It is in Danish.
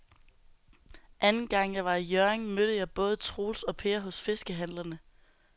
Anden gang jeg var i Hjørring, mødte jeg både Troels og Per hos fiskehandlerne.